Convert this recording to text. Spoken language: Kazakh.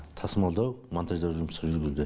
тасымалдау монтаждау жұмыстары жүргізілді